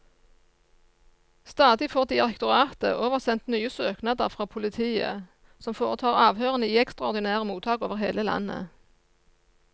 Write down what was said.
Stadig får direktoratet oversendt nye søknader fra politiet, som foretar avhørene i ekstraordinære mottak over hele landet.